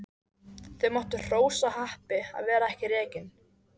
Þau máttu hrósa happi að vera ekki rekin.